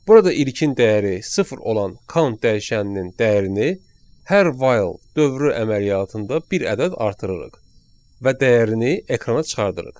Burada ilkin dəyəri sıfır olan count dəyişəninin dəyərini hər while dövrü əməliyyatında bir ədəd artırırıq və dəyərini ekrana çıxardırıq.